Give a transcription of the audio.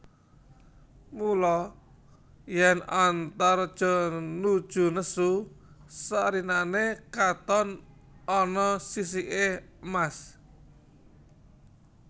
Mula yèn Antareja nuju nesu sarirané katon ana sisiké emas